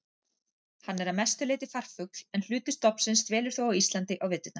Hann er að mestu leyti farfugl en hluti stofnsins dvelur þó á Íslandi á veturna.